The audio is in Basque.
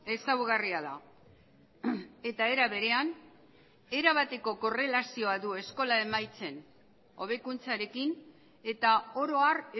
ezaugarria da eta era berean era bateko korrelazioa du eskola emaitzen hobekuntzarekin eta oro har